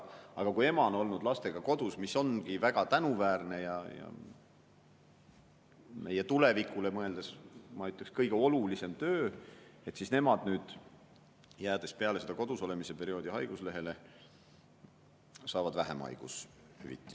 Aga kui ema on olnud lastega kodus – see ongi väga tänuväärne ja meie tulevikule mõeldes kõige olulisem töö –, siis tema, jäädes peale kodus olemise perioodi haiguslehele, saab vähem haigushüvitist.